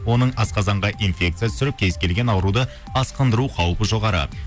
оның асқазанға инфекция түсіріп кез келген ауруды асқындыру қаупі жоғары